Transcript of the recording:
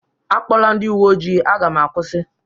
A kpọla ndị uwe ojii. Aga m akwusi